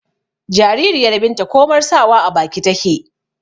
jaririyar binta komar sawa a baki take